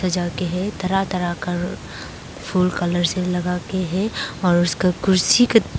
तरह तरह का फूल कलर्स लगाके है और उसका कुर्सी का--